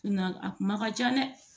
a kuma ka ca dɛ